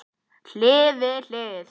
Hlið við hlið.